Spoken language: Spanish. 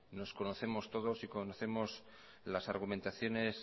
nos conocemos todos y conocemos las argumentaciones